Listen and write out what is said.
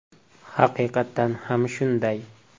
Haqiqatan ham shunday.